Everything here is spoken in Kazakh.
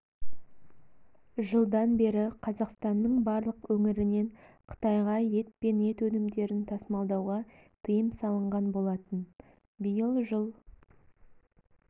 жылдан бері қазақстанның барлық өңірінен қытайғаа ет пен ет өнімдерін тасымалдауға тыйым салынған болатын биыл жыл